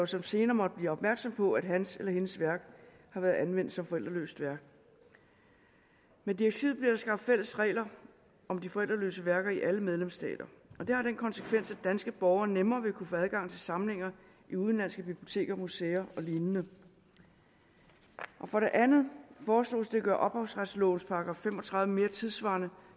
som senere måtte blive opmærksom på at hans eller hendes værk har været anvendt som forældreløst værk med direktivet bliver der skabt fælles regler om de forældreløse værker i alle medlemsstater og det har den konsekvens at danske borgere nemmere vil kunne få adgang til samlinger i udenlandske biblioteker museer og lignende for det andet foreslås det at gøre ophavsretslovens § fem og tredive mere tidssvarende